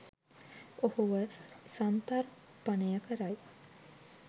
ඔහුව සන්තර්පනයකරයි.